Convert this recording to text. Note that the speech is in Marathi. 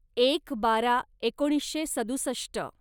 एक बारा एकोणीसशे सदुसष्ट